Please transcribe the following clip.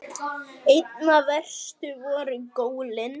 Einna verst voru gólin.